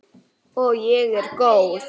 Og ég er góð.